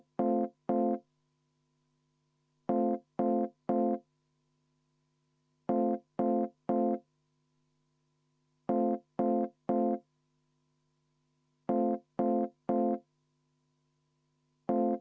Ühtlasi ma võtan enne hääletust kümme minutit vaheaega.